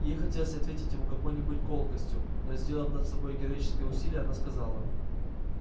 ей хотелось ответить ему какой-нибудь колкостью но сделав над собой героическое усилие она сказала